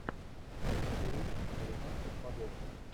набери американских богов